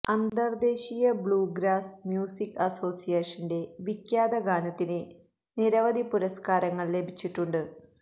അന്തർദ്ദേശീയ bluegrass music അസോസിയേഷന്റെ വിഖ്യാത ഗാനത്തിന് നിരവധി പുരസ്കാരങ്ങൾ ലഭിച്ചിട്ടുണ്ട്